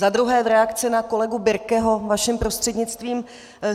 Za druhé v reakci na kolegu Birkeho vaším prostřednictvím.